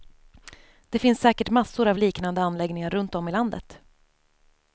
Det finns säkert massor av liknande anläggningar runt om i landet.